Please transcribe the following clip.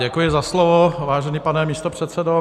Děkuji za slovo, vážený pane místopředsedo.